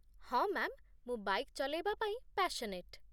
ହଁ, ମ୍ୟାମ୍, ମୁଁ ବାଇକ୍ ଚଲେଇବା ପାଇଁ ପ୍ୟାସନେଟ୍ ।